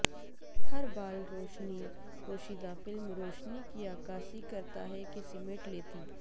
ہر بال روشنی پوشیدہ فلم روشنی کی عکاسی کرتا ہے کہ سمیٹ لیتی